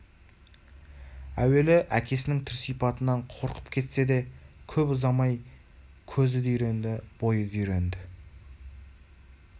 әуелі әкесінің түр-сипатынан қорқып кетсе де кеп ұзамай кезі де үйренді бойы да үйренді